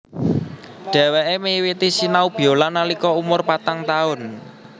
Dhèwèké miwiti sinau biola nalika umur patang taun